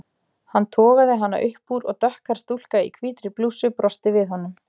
Hann togaði hana upp úr og dökkhærð stúlka í hvítri blússu brosti við honum.